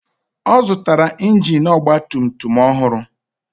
Ọ zụtara injin ọgba tum tum ọhụrụ